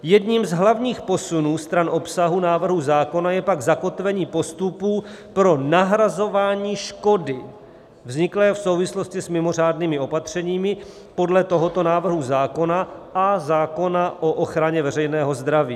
Jedním z hlavních posunů stran obsahu návrhu zákona je pak zakotvení postupů pro nahrazování škody vzniklé v souvislosti s mimořádnými opatřeními podle tohoto návrhu zákona a zákona o ochraně veřejného zdraví.